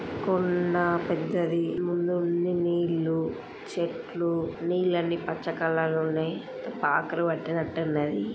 కొండా పెద్దది ముందుంది నీళ్లు చెట్లు నీళ్లన్నీ పచ్చ కలర్లో ఉన్నాయి పాకలు పట్టినట్టున్నది .